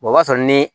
o b'a sɔrɔ ni